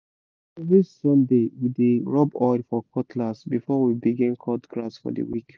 na every sunday we dey rub oil for cutlass before we begin cut grass for the week